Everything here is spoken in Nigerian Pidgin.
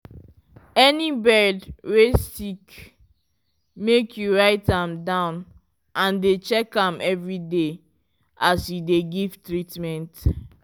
any bird wey sick make you write am down and dey check am every day as you dey give treatment.